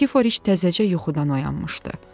Nikiforiş təzəcə yuxudan oyanmışdı.